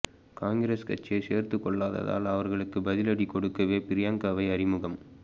காங்கிரஸ் கட்சியை சேர்த்து கொள்ளாததால் அவர்களுக்கு பதிலடி கொடுக்கவே பிரியங்காவை அறிமுகம்